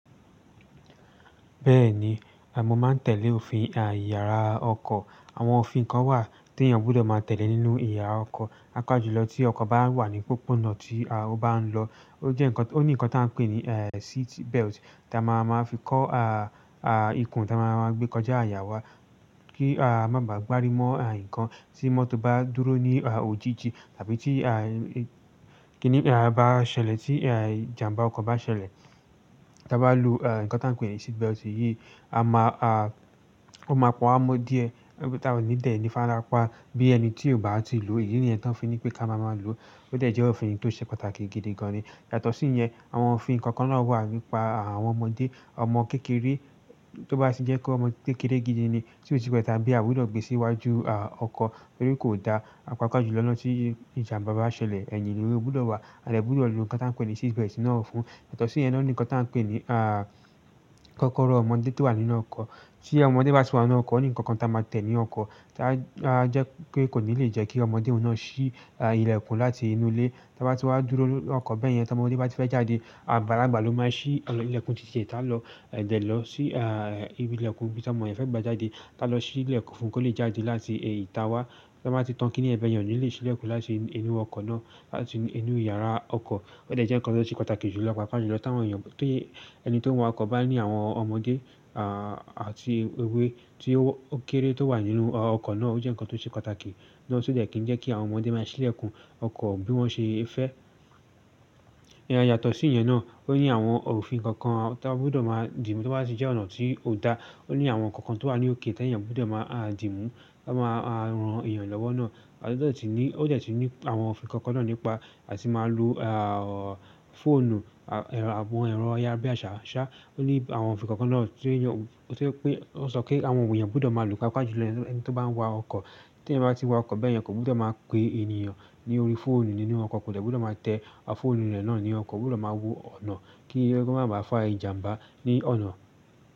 Bẹ́ẹ̀ni, à máa ń tẹ̀lé òfin ìyára ọkọ̀. Àwọn òfin kan wà tí èèyàn gbọdọ̀ máa tẹ̀lé nínú ìyára ọkọ̀. Pàpájùlọ tí ọkọ̀ bá wà ní pópónà tí ó bá ń lọ, ó ní nǹkan tí a ń pè ní seat belt tí a máa máa fi kó ikùn tí a máa máa gbé kọjá àyà wa kí a má ba à gbárí mọ́ nǹkan tí mọ́tò bá dúró ní òjìji tàbí kíní bá ṣẹlẹ̀ tí ìjàmbá ọkọ̀ bá ṣẹlẹ̀. Pàájùlọ tí ọkọ̀ bá wà ní pópónà tí ó bá ń lọ, ó ní nǹkan tí a ń pè ní àpò ìdè ààbò tí a máa máa fi kó ikùn tí a máa máa gbé kọjá àyà wa kí a má ba à gbárí mọ́ nǹkan tí mọ́tò bá dúró ní òjìji tàbí kíní bá ṣẹlẹ̀ tí ìjàmbá ọkọ̀ bá ṣẹlẹ̀. Tí a bá lo ǹkan tí a ń pè ní àpò ide abo yìí, ó máa pòń á mọ́ díẹ̀. Òun tí a ò ní dẹ̀ ní ìfarapa bí ẹni tí ò bá ti lò. Yàtọ̀ sí ìyẹn àwọn ofi ǹkan wà nípa àwọn ọmọdé ọmọ kékeré tó bá sì jẹ́ pé ọmọ kékeré gidi ni tí ò tí pẹ̀ ti ábí àgbudo gbé síwájú ọkọ̀ torí kò dá, à pàpájùlọ́ nà tí ìjàmbá bá ṣẹlẹ̀, ẹ̀yìn ló gbudọ̀ wà à dẹ gbọdọ̀ lo ǹkan tí a ń pè ní seat belt náà fún. Yàtọ̀ sí ìyẹn náà, ó ní ǹkan tí a ń pè ní kọ́kọ́rọ́ ọmọdé tó wà nínú ọkọ̀ tí ọmọdé bá ti wà nínú ọkọ̀, ni ǹkan kan tí a máa tẹ̀ ní ọkọ̀ tí a jẹ́ pé kò ní lè jẹ́ kí ọmọdé ọ̀un nà ṣí ilẹ̀kùn láti inú ilé. Tí a bá ti wá dúró ní ọkọ̀ bẹ́ẹ̀ yẹn, tí ọmọdé bá ti fẹ́ jáde, àgbàlagbà ló máa ṣí ilẹ̀kùn títí ẹ tá lọ dẹ̀ lọ sí ibi ilẹ̀kùn bí ọmọdé fẹ́ gba jáde, tá lọ ṣí ilẹ̀kùn fún kó lè jáde láti ìta wa. Tí a bá ti tán kíní yen bẹ̀yen o nílé ṣí lẹ̀kùn láti inú ọkọ̀ náà tàbí láti inú ìyára ọkọ̀. Ó dẹ̀ jẹ́ nǹkan tó ṣe pàtàkì jùlọ pàápàá jùlọ tí àwọn èèyàn, ti ẹni tó ń wa ọkọ̀ bá ní àwọn ọmọdé àti ewé tí ó kéré tó wà nínú ọkọ̀ náà. Ó jẹ́ nǹkan tó ṣe pàtàkì náà ti ó dẹ̀ kí ń jẹ́ kí àwọn ọmọdé má ṣí ilẹ̀kùn ọkọ̀ bí wọ́n ṣe fẹ́. Yàtọ̀ sí ìyẹn náà, ó ní àwọn òfin kọ̀ọ̀kan tí a gbọdọ̀ máa dì mú tí ó bá tì jẹ́ ọ̀nà tí ò dá. Ó ní àwọn nnkàn tó wà ní òkè tí èèyàn gbọdọ̀ máa dìmú, ó máa ran èèyàn lọ́wọ́ náà, ó dẹ̀ tún ní àwọn òfin kan náà nípa àti ma lo phone ẹ̀rọ ayárabíàṣá sa. Ó ní àwọn òfin kọ̀ọ̀kan náà tó sọ pé àwọn èèyàn gbọdọ̀ máa lo pàápàá jùlọ ẹni tí ó bá ń wa ọkọ̀. Tí èèyàn bá ti wa ọkọ̀ bẹ́ẹ̀yẹn kò gbudọ̀ máa pe ènìyàn ní orí fóònù nínú ọkọ̀, kò dẹ̀ gbọdọ̀ máa tẹ fóònù rẹ̀ náà ní ọkọ̀, kò gbudọ̀ máa wo ọ̀nà kí ó máa ba fa ìjàmbá ní ọ̀nà.